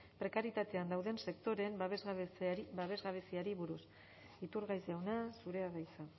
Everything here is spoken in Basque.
prekarietatean dauden sektoreen babesgabeziari buruz iturgaiz jauna zurea da hitza